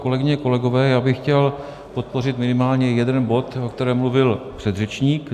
Kolegyně, kolegové, já bych chtěl podpořit minimálně jeden bod, o kterém mluvil předřečník.